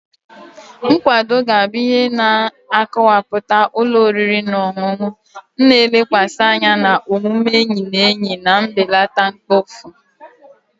Nkwado ga-abụ ihe na-akọwapụta ụlọ oriri na ọṅụṅụ, na-elekwasị anya na omume enyi na enyi na mbelata mkpofu.